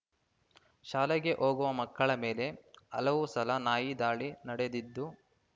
ಶಾಲೆಗೆ ಹೋಗುವ ಮಕ್ಕಳ ಮೇಲೆ ಹಲವು ಸಲ ನಾಯಿ ದಾಳಿ ನಡೆದಿದ್ದು